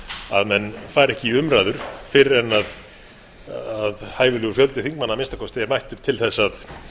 að menn fari ekki í umræður fyrr en hæfilegur fjöldi þingmanna að minnsta kosti er mættur til þess að